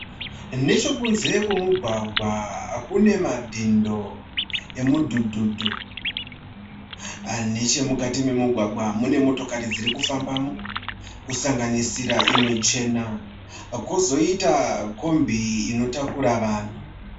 Nechekunze kwemugwagwa kune madhindo emudhudhudhu. Nechemukati memugwagwa mune motikari dziri kufambamo, kusanganisira imwe chena. Kozoita kombi inotakura vanhu.